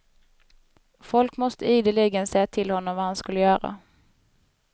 Folk måste ideligen säga till honom vad han skulle göra.